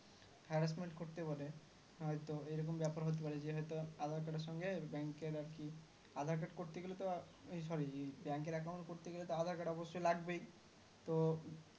Harassment করতেই পারে হয়তো এরকম ব্যাপার হতে পারে জি হয়তো aadhar card সঙ্গে bank এর আরকি aadhar card করতে গেলেতো এই sorryBank account করতে গেলেতো aadhar card অবশ্যই লাগবেই তো